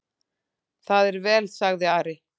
Það er vel, sagði Ari.